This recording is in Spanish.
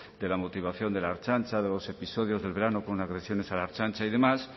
de la motivación de la ertzaintza de los episodios del verano con agresiones a la ertzaintza y demás